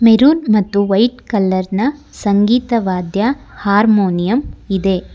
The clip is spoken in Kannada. ಮೆರೂನ್ ಮತ್ತು ವೈಟ್ ಕಲರ್ನ ಸಂಗೀತವಾದ್ಯ ಹಾರ್ಮೋನಿಯಂ ಇದೆ.